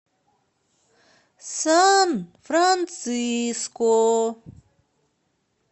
сан франциско